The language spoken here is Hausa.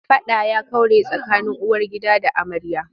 Faɗa ya kaure tsakanin uwargida da amarya.